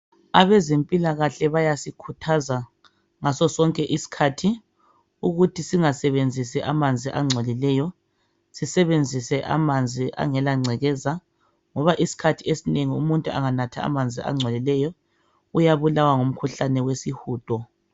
Abezempilakahle bayasikhuthaza ngaso sonke isikhathi ukuthi singasebenzisimamanzi angcopileyo. Sisebenzise amanzi angelangcekeza, ngoba sonke isikhathi umuntu anganatha amanzi alengcekeza uyabulawa ngumkhuhlane wesihudo.